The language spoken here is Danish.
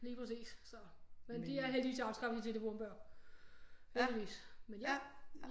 Lige præcis så men de er heldigvis afskaffet de telefonbøger heldigvis men ja